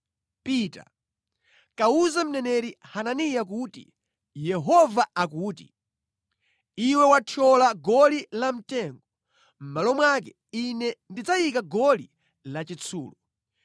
“Pita, kawuze mneneri Hananiya kuti, ‘Yehova akuti: Iwe wathyola goli lamtengo, mʼmalo mwake Ine ndidzayika goli lachitsulo.